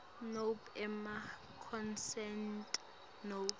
nobe emaconsent nobe